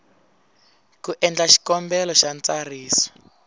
ku endla xikombelo xa ntsariso